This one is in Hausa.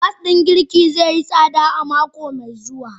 Gas din girki zai yi tsada a mako mai zuwa.